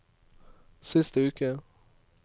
siste uke